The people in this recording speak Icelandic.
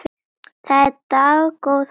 Það er dágóð veiði.